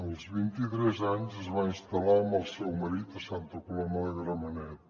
als vint i tres anys es va instal·lar amb el seu marit a santa coloma de gramenet